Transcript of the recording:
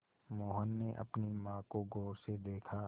मोहन ने अपनी माँ को गौर से देखा